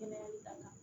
Kɛnɛyali damina